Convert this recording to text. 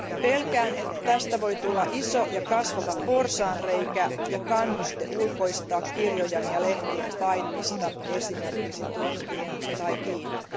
Pelkään, että tästä voi tulla iso ja kasvava porsaanreikä ja kannuste ulkoistaa kirjojen ja lehtien painamista esimerkiksi Turkkiin tai Kiinaan.